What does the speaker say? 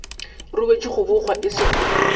ruetšwe go bogwa e sego